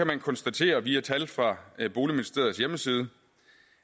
man konstatere via tal fra boligministeriets hjemmeside